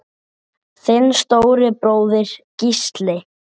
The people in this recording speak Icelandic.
Þinn stóri bróðir, Gísli.